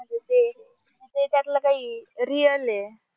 म्हणजे ते त्यातला काही real हे.